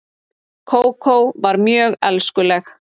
Kókó var mjög elskuleg.